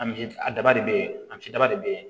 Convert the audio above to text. An a daba de bɛ ye an si daba de bɛ yen